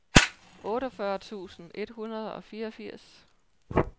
otteogfyrre tusind et hundrede og fireogfirs